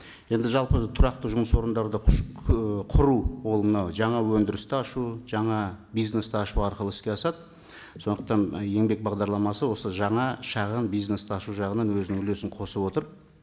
енді жалпы тұрақты жұмыс орындарды құру ол мынау жаңа өндірісті ашу жаңа бизнесті ашу арқылы іске асады сондықтан еңбек бағдарламасы осы жаңа шағын бизнесті ашу жағынан өзінің үлесін қосып отыр